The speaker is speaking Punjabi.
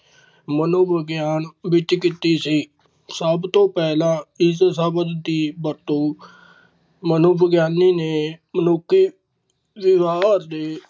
ਮਨੋਵਿਗਿਆਨ ਵਿੱਚ ਕੀਤੀ ਸੀ, ਸਭ ਤੋਂ ਪਹਿਲਾਂ ਇਸ ਸ਼ਬਦ ਦੀ ਵਰਤੋਂ ਮਨੋਵਿਗਿਆਨੀ ਨੇ ਮਨੁੱਖੀ। ਵਿਰਾਡ ਡੇ